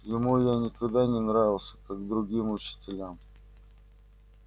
ему я никогда не нравился как другим учителям